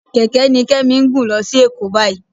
Kẹ̀kẹ́ ni Kẹ́mi ń gùn lọ sí Èkó báyìí